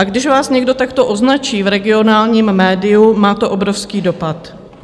A když vás někdo takto označí v regionálním médiu, má to obrovský dopad.